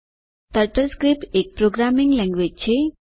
turtle script એક programming language છે